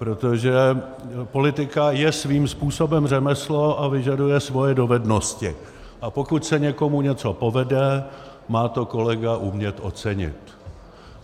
Protože politika je svým způsobem řemeslo a vyžaduje svoje dovednosti, a pokud se někomu něco povede, má to kolega umět ocenit.